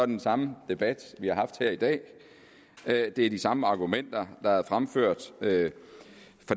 den samme debat vi har haft her i dag det er de samme argumenter der er blevet fremført af